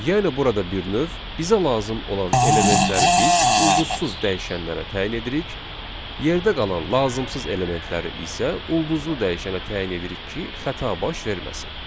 Yəni burada bir növ bizə lazım olan elementləri biz ulduzsuz dəyişənlərə təyin edirik, yerdə qalan lazımsız elementləri isə ulduzlu dəyişənə təyin edirik ki, xəta baş verməsin.